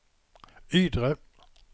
Ydre